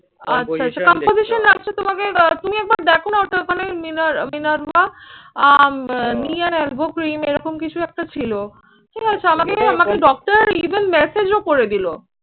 আচ্ছা আচ্ছা composition তোমাকে আহ তুমি একবার দেখো না ওটা ওখানে মিনার, মিনার্ভা এরকম কিছু একটা ছিল। ঠিক আছে, আমাকে আমাকে doctor even massage ও করে দিল।